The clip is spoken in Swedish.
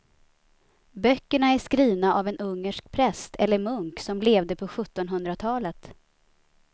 Böckerna är skrivna av en ungersk präst eller munk som levde på sjuttonhundratalet.